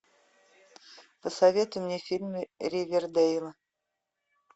посоветуй мне фильмы ривердейла